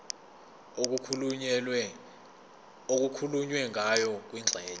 okukhulunywe ngayo kwingxenye